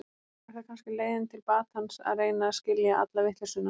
Er það kannski leiðin til batans að reyna að skilja alla vitleysuna.